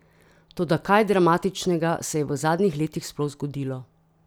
Toda kaj dramatičnega se je v zadnjih letih sploh zgodilo?